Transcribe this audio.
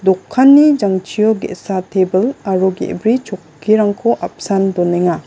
okanni jangchio ge·sa te·bil aro ge·bri chokkirangko apsan donenga.